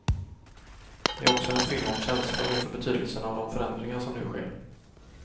Det är också en film om känslor inför betydelsen av de förändringar som nu sker.